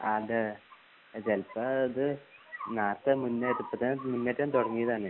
അതെ ചെലപ്പോ ത് നേരത്തെ മുന്നേ ഇപ്പടത്തെന് മുന്നേക്കെ തൊടങ്ങിതാണ്